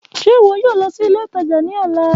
Ṣe iwọ yoo lọ si ile itaja ni ọla?